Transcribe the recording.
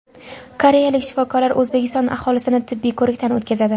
Koreyalik shifokorlar O‘zbekiston aholisini tibbiy ko‘rikdan o‘tkazadi.